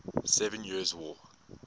seven years war